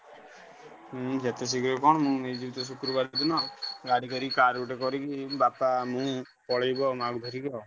ହୁଁ ଯେତେଶୀଘ୍ର କଣ ମୁଁ ନେଇଯିବି ତ ଶୁକ୍ରବାର ଦିନ ଗାଡି କରିକି car ଗୋଟେ କରିକି ନେଇ ବାପା ମୁଁ ପଳେଇବୁ ଆଉ ମାଆକୁ ଧରିକି ଆଉ।